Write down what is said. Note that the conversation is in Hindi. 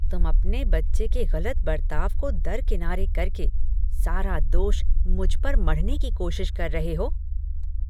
तुम अपने बच्चे के गलत बर्ताव को दरकिनारे करके सारा दोष मुझ पर मढ़ने की कोशिश कर रहे हो।